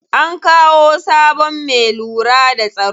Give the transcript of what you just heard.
An kawo sabon me lura da tsaro.